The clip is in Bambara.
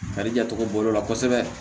Kari jatogo bɔrɛ la kosɛbɛ